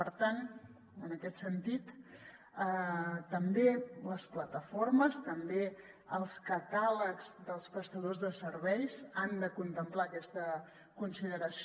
per tant també les plataformes també els catàlegs dels prestadors de serveis han de contemplar aquesta consideració